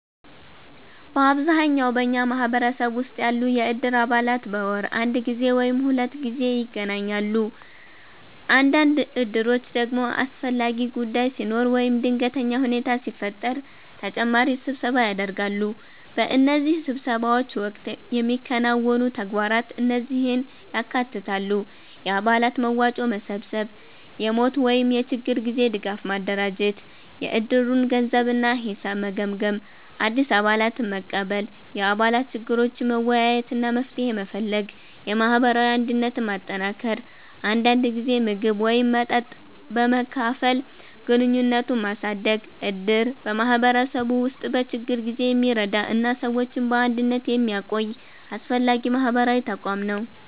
በአብዛኛው በኛ ማህበረሰብ ውስጥ ያሉ የእድር አባላት በወር አንድ ጊዜ ወይም ሁለት ጊዜ ይገናኛሉ። አንዳንድ እድሮች ደግሞ አስፈላጊ ጉዳይ ሲኖር ወይም ድንገተኛ ሁኔታ ሲፈጠር ተጨማሪ ስብሰባ ያደርጋሉ። በእነዚህ ስብሰባዎች ወቅት የሚከናወኑ ተግባራት እነዚህን ያካትታሉ፦ የአባላት መዋጮ መሰብሰብ የሞት ወይም የችግር ጊዜ ድጋፍ ማደራጀት የእድሩን ገንዘብ እና ሂሳብ መገምገም አዲስ አባላትን መቀበል የአባላት ችግሮችን መወያየት እና መፍትሄ መፈለግ የማህበራዊ አንድነትን ማጠናከር አንዳንድ ጊዜ ምግብ ወይም መጠጥ በመካፈል ግንኙነትን ማሳደግ እድር በማህበረሰቡ ውስጥ በችግር ጊዜ የሚረዳ እና ሰዎችን በአንድነት የሚያቆይ አስፈላጊ ማህበራዊ ተቋም ነው።